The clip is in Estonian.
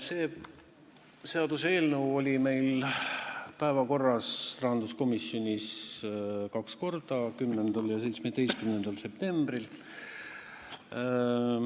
See seaduseelnõu oli meil rahanduskomisjoni päevakorras kahel korral: 10. ja 17. septembril.